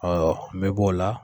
Ɔ n bɛ b'o la.